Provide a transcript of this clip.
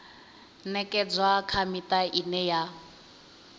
ṅekedzwa kha miṱa ine ya